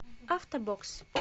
автобокс